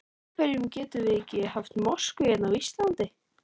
Af hverjum getum við ekki haft mosku hérna á Íslandi?